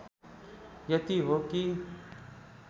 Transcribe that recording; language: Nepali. यति हो कि